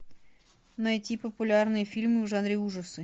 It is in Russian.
найти популярные фильмы в жанре ужасы